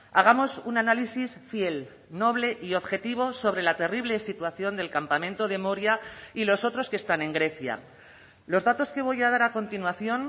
hagamos un análisis fiel noble y objetivo sobre la terrible situación del campamento de moria y los otros que están en grecia los datos que voy a dar a continuación